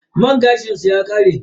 Man gashin su ya kare.